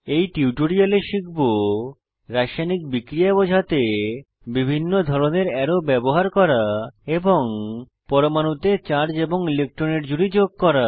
এই টিউটোরিয়ালে শিখব রাসায়নিক বিক্রিয়া বোঝাতে বিভিন্ন ধরনের অ্যারো ব্যবহার করা এবং পরমাণুতে চার্জ এবং ইলেক্ট্রনের জুড়ি যোগ করা